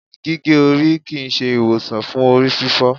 gige ori kii ṣe iwosan fun orififo